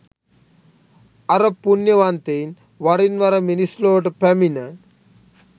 අර පුණ්‍යවන්තයින් වරින් වර මිනිස් ලොවට පැමිණ